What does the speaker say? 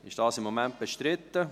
Ist dies im Moment bestritten?